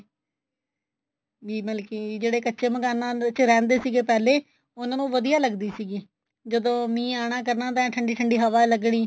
ਵੀ ਮਤਲਬ ਕੀ ਜਿਹੜੇ ਕੱਚੇ ਮਕਾਨਾ ਵਿੱਚ ਰਹਿੰਦੇ ਸੀਗੇ ਪਹਿਲੇ ਉਹਨਾਂ ਨੂੰ ਵਧੀਆ ਲੱਗਦੀ ਸੀਗੀ ਜਦੋਂ ਮੀਹ ਆਉਣਾ ਕਰਨਾ ਤਾਂ ਐਨ ਠੰਡੀ ਠੰਡੀ ਹਵਾ ਲੱਗਣੀ